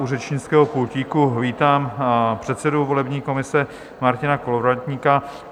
U řečnického pultíku vítám předsedu volební komise Martina Kolovratníka.